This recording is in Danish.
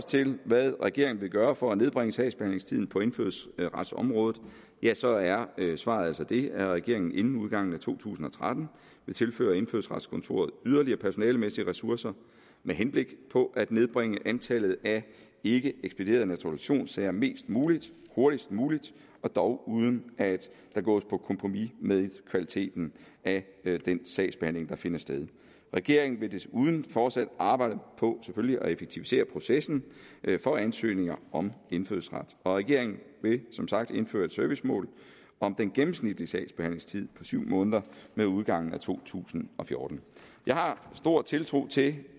til hvad regeringen vil gøre for at nedbringe sagsbehandlingstiden på indfødsretsområdet ja så er svaret altså det at regeringen inden udgangen af to tusind og tretten vil tilføre indfødsretskontoret yderligere personalemæssige ressourcer med henblik på at nedbringe antallet af ikkeekspederede naturalisationssager mest muligt hurtigst muligt og dog uden at der gås på kompromis med kvaliteten af den sagsbehandling der finder sted regeringen vil selvfølgelig desuden fortsat arbejde på at effektivisere processen for ansøgninger om indfødsret og regeringen vil som sagt indføre et servicemål om den gennemsnitlige sagsbehandlingstid på syv måneder med udgangen af to tusind og fjorten jeg har stor tiltro til